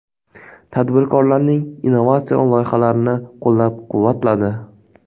Tadbirkorlarning innovatsion loyihalarini qo‘llab-quvvatladi.